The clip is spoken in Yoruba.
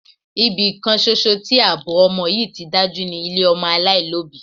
Ibi kan ṣoṣo tí àbọ̀ ọmọ yí ti dájú ni ilé ọmọ aláìlóbìí.